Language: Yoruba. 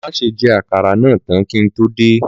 Máse je àkàrà náà tán kí n tó dé